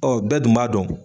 bɛɛ dun b'a dɔn